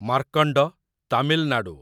Markand, Tamil Nadu